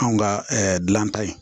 Anw ka dulan ta ye